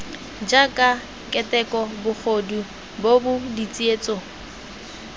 jaaka keteko bogodu bobod tsietso